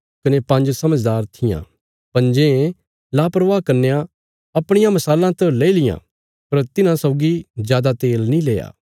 पंज्जें लापरवाह कन्यां अपणियां मशालां त लेई लियां पर तिन्हां सौगी जादा तेल नीं लेआ